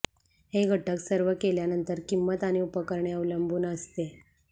हे घटक सर्व केल्यानंतर किंमत आणि उपकरणे अवलंबून असते